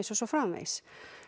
og svo framvegis